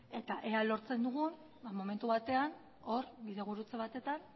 eta ea lortzen dugun momentu batean hor bide gurutze batetan